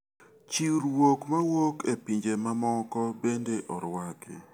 Chiwruok mowuok e pinje mamoko bende orwaki.